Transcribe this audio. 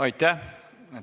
Aitäh!